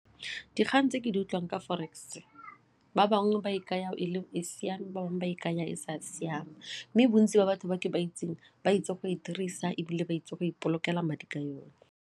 Dikgang tse ke di utlwang ka forex ba bangwe ba e kaya e le e siame bangwe ba e kaya e le e sa siama mme bontsi ba batho ba ke ba itseng ba itse go e dirisa ebile ba itse go ipolokela madi ka yone.